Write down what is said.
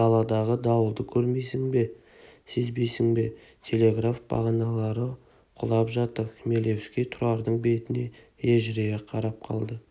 даладағы дауылды көрмейсің бе сезбейсің бе телеграф бағаналары құлап жатыр хмелевский тұрардың бетіне ежірейе қарап қалды